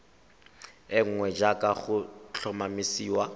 e nngwe jaaka go tlhomamisiwa